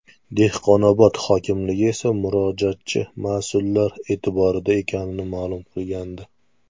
Dehqonobod hokimligi esa murojaatchi mas’ullar e’tiborida ekanini ma’lum qilgandi .